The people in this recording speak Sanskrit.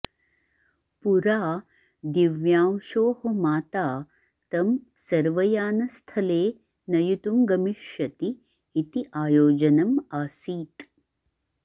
पुरा दिव्यांशोः माता तं सर्वयानस्थले नयितुं गमिष्यति इति आयोजनम् आसीत्